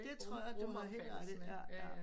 Det tror jeg du har helt ret i ja ja